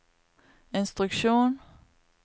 instruksjon